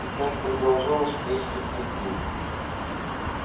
и так продолжалось несколько дней